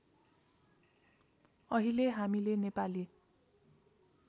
अहिले हामीले नेपाली